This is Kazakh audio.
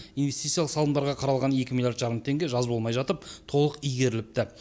инвестициялық салымдарға қаралған екі миллиард жарым теңге жаз болмай жатып толық игеріліпті